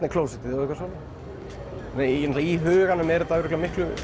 er klósettið og svona í huganum er þetta örugglega miklu